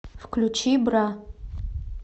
включи бра